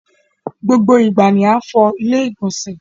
gbọ gbó ìgbà ní an fọ ilé-ìgbọ̀nsẹ̀